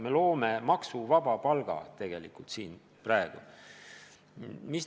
Me loome praegu tegelikult maksuvaba palga.